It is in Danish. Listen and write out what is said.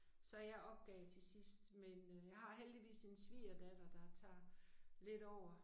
Så jeg opgav til sidst men øh jeg har heldigvis en svigerdatter der tager lidt over